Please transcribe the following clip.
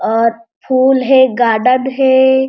और फूल हे गार्डन हे.।